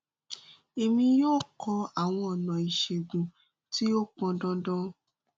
èmi yóò kọ àwọn ọnà ìṣègùn tí ó pọn dandan